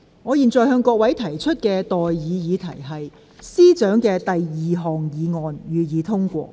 我現在向各位提出的待議議題是：政務司司長動議的第二項議案，予以通過。